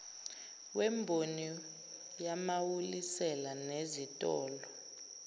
wemboni yamawulisela nezitolo